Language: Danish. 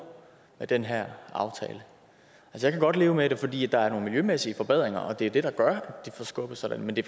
af den her aftale jeg kan godt leve med det fordi der er nogle miljømæssige forbedringer og det er det der gør det forskubber sig men det